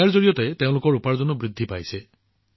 ইয়াৰ জৰিয়তে তেওঁলোকৰ উপাৰ্জনো যথেষ্ট বৃদ্ধি পাইছে